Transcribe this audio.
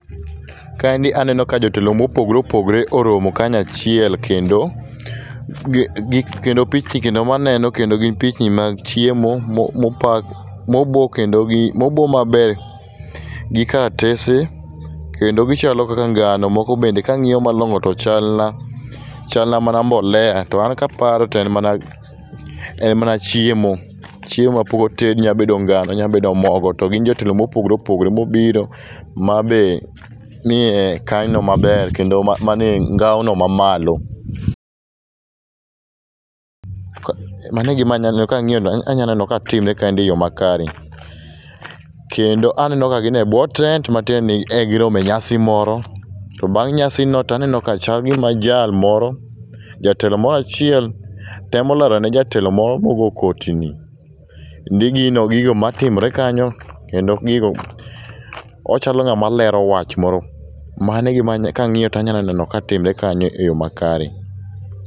Kaendi aneno ka jotelo ma opogore opogore oromo kanyo achiel kendo gi, kendo maneno kendo gin pichni mag chiemo ma opa, ma obo kendo, ma obo maber gi karatese kendo gichalo kaka ngano moko be kang'iyo malongo chal, chal na mana mbolea to an kaparo to en mana chiemo. Chiemo mapok otedi nya bedo ngano, nya bedo mogo to ginyabedo jotelo mopogore opogore mobiro mabe miye kaino maber kendo mane ngao no mamalo. Mano e gima aneno, kang'iyo to anya neno ka timre kaendi e yoo makare kendo aneno ka gin e buo tent matiende ni ne girome nyasi moro to bang' nyasi to chal gima jal moro, jatelo moro achiel temo lalone jatelo moro mogo koti ni ni gino, gigo matimre kanyo kendo gigo, ochalo ng'ama lero wach moro. Mano e gima, kangiyo tanyaneno katimre kanyo e yoo makare.